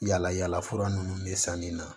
Yala yala fura nunnu bɛ san nin na